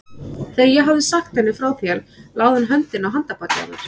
Þegar ég hafði sagt henni frá þér lagði hún höndina á handarbakið á mér.